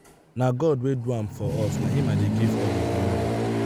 na god wey do am for us na him i dey give all the glory.